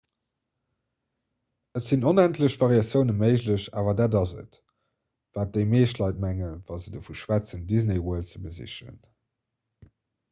et sinn onendlech variatioune méiglech awer dat ass et wat déi meescht leit mengen wa se dovu schwätzen disney world ze besichen